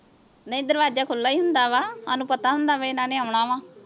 ਨਹੀਂ ਦਰਵਾਜਾ ਖੁੱਲ ਹੀ ਹੁੰਦਾ ਵਾ ਸਾਨੂੰ ਪਤਾ ਹੁੰਦਾ ਵੀ ਇਹਨਾਂ ਨੇ ਆਉਣ ਵਾ